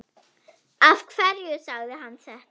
Af hverju sagði hann þetta?